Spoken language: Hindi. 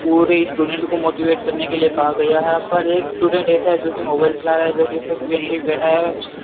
और स्टूडेंट को मोटिवेट करने के लिए कहा गया है पर एक स्टूडेंट ऐसा है जो कि मोबाइल चला रहा है जो की फर्स्ट बेंच पे बैठा है।